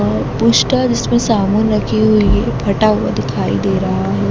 और पुस्टर इसमें साबुन लगी हुई है फटा हुआ दिखाई दे रहा है।